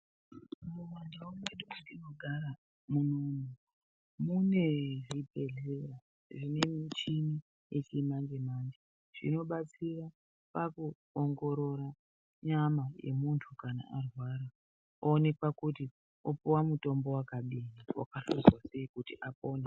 Mumandau mwedu matinogara munomu mune zvibhedhleya nemichini yechimanje-manje. Zvinobatsira pakuongorora nyama yemuntu kana arwara oonekwa kuti opuva mutombo vakadini vakahluzwa sei kuti apone.